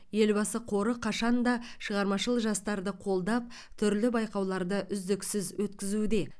елбасы қоры қашанда шығармашыл жастарды қолдап түрлі байқауларды үздіксіз өткізуде